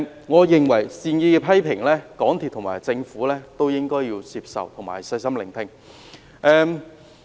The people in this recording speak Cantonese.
我認為港鐵公司及政府應該接受及細心聆聽善意的批評。